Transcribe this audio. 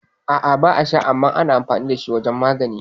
A'a ba a sha, amma ana amfani dashi wajan magani